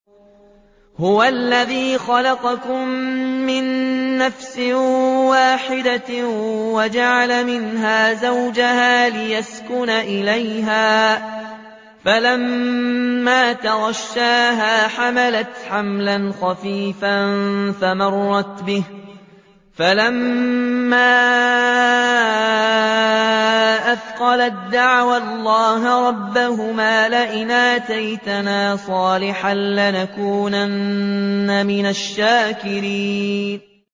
۞ هُوَ الَّذِي خَلَقَكُم مِّن نَّفْسٍ وَاحِدَةٍ وَجَعَلَ مِنْهَا زَوْجَهَا لِيَسْكُنَ إِلَيْهَا ۖ فَلَمَّا تَغَشَّاهَا حَمَلَتْ حَمْلًا خَفِيفًا فَمَرَّتْ بِهِ ۖ فَلَمَّا أَثْقَلَت دَّعَوَا اللَّهَ رَبَّهُمَا لَئِنْ آتَيْتَنَا صَالِحًا لَّنَكُونَنَّ مِنَ الشَّاكِرِينَ